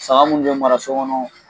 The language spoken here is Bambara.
Saga munnu be mara so kɔnɔ